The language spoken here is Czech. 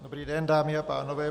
Dobrý den, dámy a pánové.